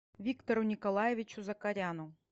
виктору николаевичу закаряну